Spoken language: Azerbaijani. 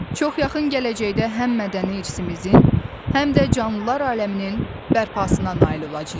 Çox yaxın gələcəkdə həm mədəni irsimizin, həm də canlılar aləminin bərpasına nail olacağıq.